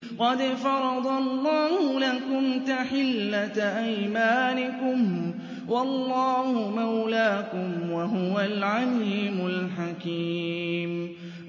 قَدْ فَرَضَ اللَّهُ لَكُمْ تَحِلَّةَ أَيْمَانِكُمْ ۚ وَاللَّهُ مَوْلَاكُمْ ۖ وَهُوَ الْعَلِيمُ الْحَكِيمُ